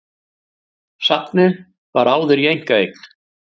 Safnið var áður í einkaeign